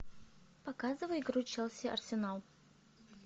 показывай игру челси арсенал